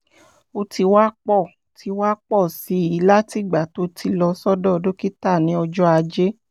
ó ti wá pọ̀ ti wá pọ̀ sí i látìgbà tó ti lọ sọ́dọ̀ dókítà ní ọjọ́ ajé